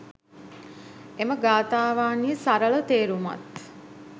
එම ගාථාවන්හි සරල තේරුමත්